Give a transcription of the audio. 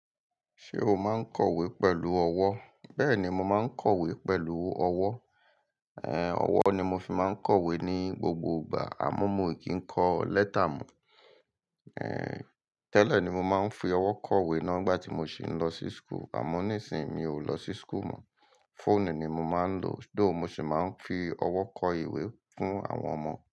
Ṣé o máa ń kọ̀wé pẹ̀lú ọwọ́? Bẹ́ẹ̀ni, mo máa ń kọ̀wé pẹ̀lú ọwọ́. Ẹ̀hẹ̀n, ọwọ́ ni mo fi máa ń kọ̀wé ní gbogbo ìgbà àmọ́ mo kì í kọ lẹ́tà mọ̀. Ẹ̀hẹ̀n, tẹ́lẹ̀ ni mo máa ń fi ọwọ́ kọ ìwé na ngbà tí mo sì ń lọ sí school, àmọ́ nísìí mi ò lọ sí school mọ́. Fóònù ni mo máa ń lò, though mo sì máa ń fi ọwọ́ kọ ìwé fún àwọn ọmọ.